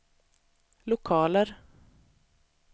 lokaler